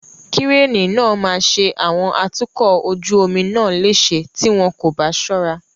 Kíréènì náà maa ṣe àwọn atukọ̀ ojú omi náà léṣe tí wọn kò bá ṣọ́ra.